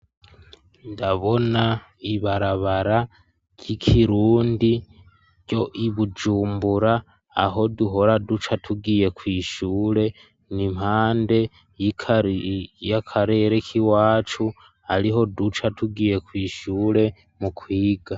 Ndabona ibarabara ry'ikirundi ryo i Bujumbura aho duhora duca tugiye kw'ishure ni impande y'akarere k'iwacu ariho duca tugiye kw'ishure mu kwiga.